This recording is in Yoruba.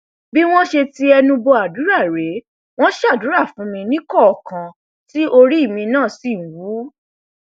bí wọn ṣe ti ẹnu bọ àdúrà rèé wọn ṣàdúrà fún mi níkọọkan tí orí èmi náà sì wú